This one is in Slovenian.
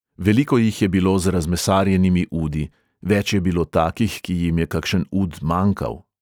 Veliko jih je bilo z razmesarjenimi udi, več je bilo takih, ki jim je kakšen ud manjkal.